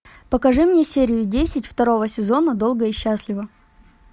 покажи мне серию десять второго сезона долго и счастливо